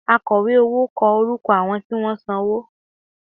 Akọ̀wé owó kọ orúkọ àwọn tí wọ́n san owó